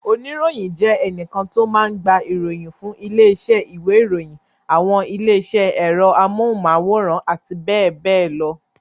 Oníròyìn jẹ́ ẹnìkan tó máa ń gba ìròyìn fún ilé-iṣẹ́ ìwé-ìròyìn, àwọn ilé-iṣẹ́ ẹ̀rọ amóhùmáwòhán àti bẹ́ẹ̀ bẹ́ẹ̀ lọ.